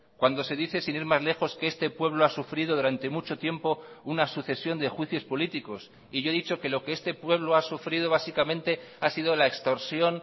cuando se dice sin ir más lejos que este pueblo ha sufrido durante mucho tiempo una sucesión de juicios políticos y yo he dicho que lo que este pueblo ha sufrido básicamente ha sido la extorsión